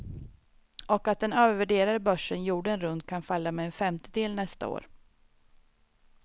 Och att den övervärderade börsen jorden runt kan falla med en femtedel nästa år.